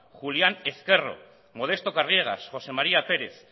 julián ezquerro modesto carriegas josé maría pérez